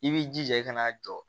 I b'i jija i kana jɔ